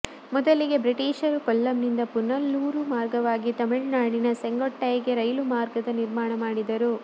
ಮೊದಲಿಗೆ ಬ್ರಿಟೀಷರು ಕೊಲ್ಲಂನಿಂದ ಪುನಲೂರು ಮಾರ್ಗವಾಗಿ ತಮಿಳುನಾಡಿನ ಸೆಂಗೊಟ್ಟೈಗೆ ರೈಲು ಮಾರ್ಗದ ನಿರ್ಮಾಣ ಮಾಡಿದರು